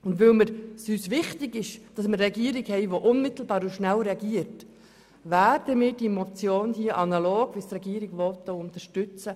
Und weil es uns wichtig ist, dass wir eine Regierung haben, die unmittelbar und schnell reagiert, werden wir diese Motion analog der Regierung unterstützen.